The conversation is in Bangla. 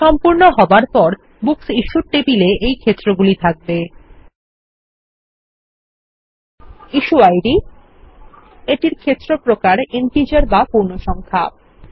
সম্পূর্ণ হবার পর বুকস ইশ্যুড টেবিল এ এই ক্ষেত্রগুলি থাকবে160 ইস্যু আইডি এটির ক্ষেত্র প্রকার ইন্টিজার বা পূর্ণসংখ্যা